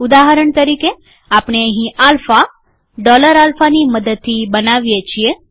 ઉદાહરણ તરીકે આપણે આલ્ફા ડૉલર આલ્ફાની મદદથી બનાવીએ છીએ